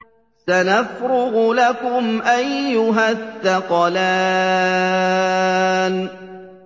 سَنَفْرُغُ لَكُمْ أَيُّهَ الثَّقَلَانِ